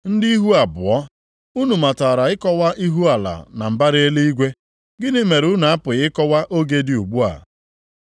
Ndị ihu abụọ! Unu matara ịkọwa ihu ala na mbara eluigwe. Gịnị mere unu apụghị ịkọwa oge dị ugbu a?